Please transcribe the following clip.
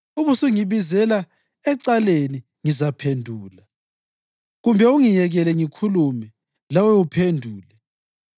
Ubusungibizela ecaleni, ngizaphendula, kumbe ungiyekele ngikhulume, lawe uphendule.